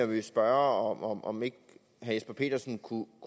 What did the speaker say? vil spørge om ikke herre jesper petersen kunne